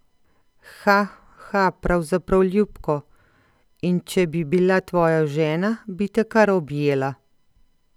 Ha, ha, pravzaprav ljubko, in če bi bila tvoja žena, bi te kar objela.